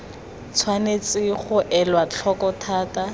tshwanetse ga elwa tlhoko thata